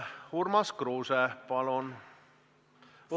Urmas Kruuse, palun!